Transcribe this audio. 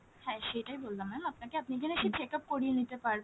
হ্যাঁ সেটাই বললাম ma'am আপনাকে আপনি এসে check up করিয়ে নিতে পারবেন,